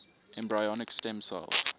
embryonic stem cells